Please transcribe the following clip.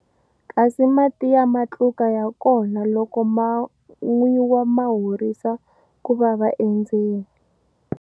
Kasi mati ya matluka ya kona loko ma nwiwa ma horisa ku vava endzeni.